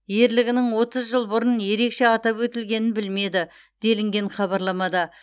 ерлігінің отыз жыл бұрын ерекше атап өтілгенін білмеді делінген хабарламада